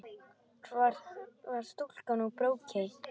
Hvar var stúlkan úr Brokey?